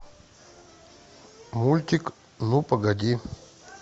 мультик ну погоди